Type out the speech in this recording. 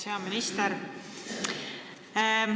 Hea minister!